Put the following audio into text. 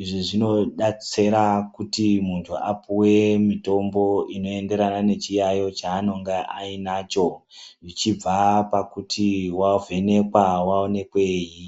Izvi zvinodetsera kuti muntu apuwe mitombo inoenderana nechiyaiyo cheanonga ainacho, ichibva pakuti wavhenekwa kuti wavhenekweyi.